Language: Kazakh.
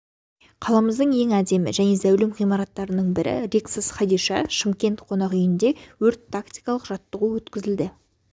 қаламыздың ең әдемі және зәулім ғимараттарының бірі риксос хадиша шымкент қонақ үйінде өрт-тактикалық жаттығу өткізді